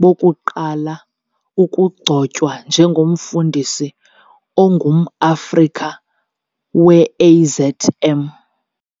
bokuqala ukugcotywa nje ngomfundisi ongumAfrika we-AZM.